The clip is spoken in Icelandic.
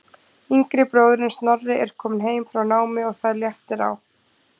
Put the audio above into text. Yngri bróðirinn Snorri er kominn heim frá námi og það léttir á.